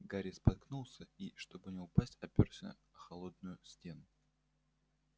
гарри споткнулся и чтобы не упасть опёрся о холодную стену